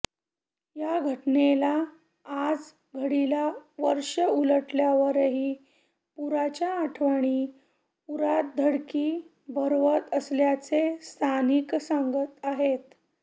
या घटनेला आजघडीला वर्ष उलटल्यावरही पुराच्या आठवणी उरात धडकी भरवत असल्याचे स्थानिक सांगत आहेत